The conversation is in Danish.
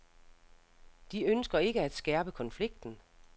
De ønsker ikke at skærpe konflikten.